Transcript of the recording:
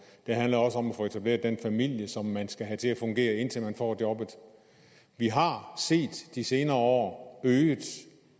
det handler også om at få etableret den familie som man skal have til at fungere indtil man får jobbet vi har i de senere år set øget